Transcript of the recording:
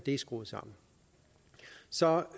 er skruet sammen så